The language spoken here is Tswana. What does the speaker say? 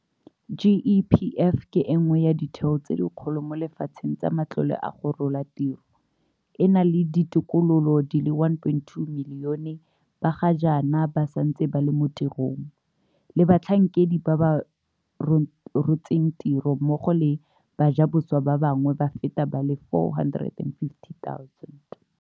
GEPF ke e nngwe ya ditheo tse dikgolo mo lefatsheng tsa matlole a go rola tiro, e na le ditokololo di le 1.2 milione ba ga jaana ba santseng ba le mo tirong, le batlhankedi ba ba rotseng tiro mmogo le bajaboswa ba bangwe ba feta ba le 450 000.